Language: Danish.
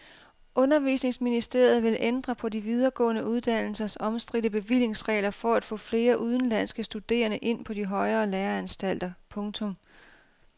Undervisningsministeriet vil ændre på de videregående uddannelsers omstridte bevillingsregler for at få flere udenlandske studerende ind på de højere læreanstalter. punktum